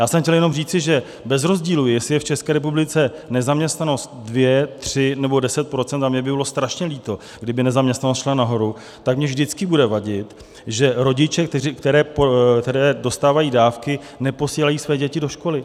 Já jsem chtěl jenom říci, že bez rozdílu, jestli je v České republice nezaměstnanost 2, 3 nebo 10 %- a mně by bylo strašně líto, kdyby nezaměstnanost šla nahoru - tak mi vždycky bude vadit, že rodiče, kteří dostávají dávky, neposílají své děti do školy.